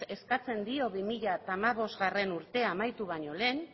eskatzen dio bi mila hamabostgarrena urtea amaitu baino lehen